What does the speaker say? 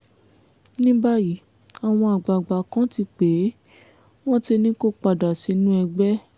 ní báyìí àwọn àgbààgbà kan ti pè é wọ́n ti ní kó padà sínú ẹgbẹ́